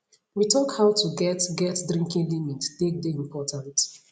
we talk how to get get drinking limit take dey important